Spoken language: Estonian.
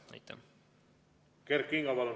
Kert Kingo, palun!